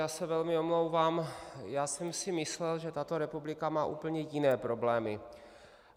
Já se velmi omlouvám, já jsem si myslel, že tato republika má úplně jiné problémy.